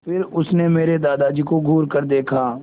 फिर उसने मेरे दादाजी को घूरकर देखा